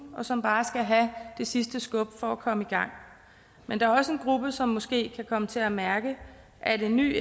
og som bare skal have det sidste skub for at komme i gang men der er også en gruppe som måske kan komme til at mærke at en ny